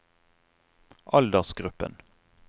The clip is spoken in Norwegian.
aldersgruppen